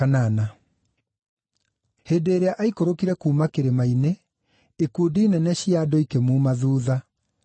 Hĩndĩ ĩrĩa aikũrũkire kuuma kĩrĩma-inĩ, ikundi nene cia andũ ikĩmuuma thuutha.